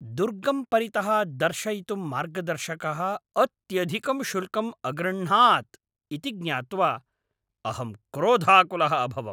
दुर्गं परितः दर्शयितुं मार्गदर्शकः अत्यधिकं शुल्कं अगृह्णात् इति ज्ञात्वा अहं क्रोधाकुलः अभवम्।